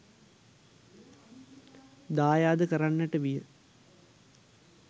දායාද කරන්නට විය.